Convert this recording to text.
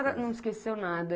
A senhora não esqueceu nada.